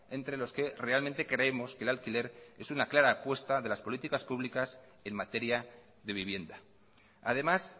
entre los que realmente creemos que el alquiler es una clara apuesta de las políticas públicas en materia de vivienda además